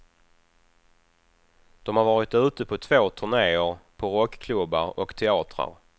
De har varit ute på två turneer på rockklubbar och teatrar.